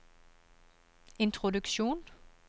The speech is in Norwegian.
introduksjon